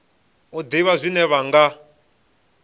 u ḓivha zwine vha nga